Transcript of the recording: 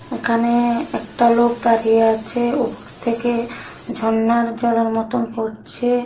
একানে একটা লোক দাঁড়িয়ে আচে উপর থেকে ঝর্ণার জলের মতোন পড়ছে।